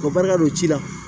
O barika don ci la